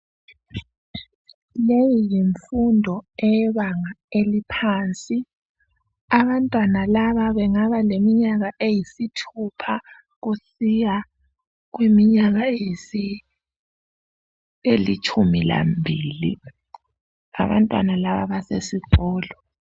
Leyi yinfundo eyebanga eliphansi abantwana laba bengaba leminyaka eyisithupha kusiya kuminyaka elitshumi lambili . Abantwana laba basesikolo.